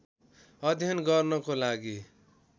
अध्ययन गर्नको लागि